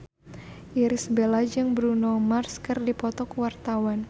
Irish Bella jeung Bruno Mars keur dipoto ku wartawan